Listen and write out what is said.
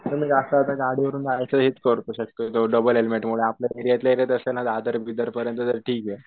गाडीवरून जाण्याचं हेच करतो डबले हेल्मेटमुळे आजारी बिजारी पडलं तर ठीके